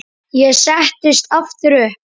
Ég settist aftur upp.